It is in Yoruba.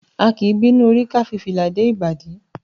A kì í bínú orí ká fi fìlà dé ìbàdí.